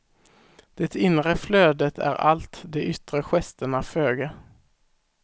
Det inre flödet är allt, de yttre gesterna föga.